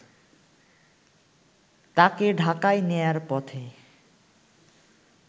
তাকেঢাকায় নেয়ার পথে